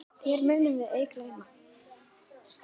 Þér munum við ei gleyma.